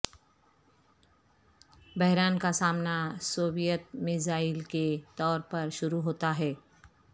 بحران کا سامنا سوویت میزائل کے طور پر شروع ہوتا ہے